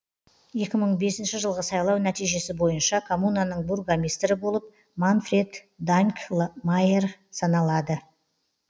екі мың бесінші жылғы сайлау нәтижесі бойынша коммунаның бургомистрі болып манфред данкльмайер саналады